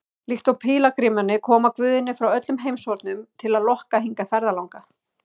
Líkt og pílagrímarnir koma guðirnir frá öllum heimshornum til að lokka hingað ferðalanga.